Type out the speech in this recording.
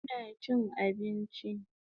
Ina chin abinchi